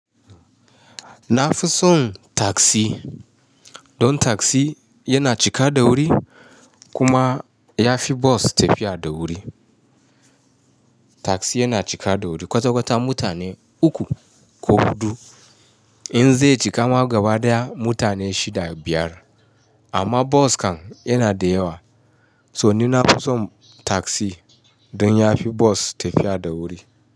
Na fi son taksi, don taksi yana cika da wuri kuma ya fi bos tafiya da wuri. Taksi yana cika da wuri, ƙwaƙwalwa mutane uku ko huɗu, in zai cika ma gaba daya mutane shida-biyar. Amma bos kan yana da yawa. So ni na fi son tagsi don ya fi bos tafiya da wuri.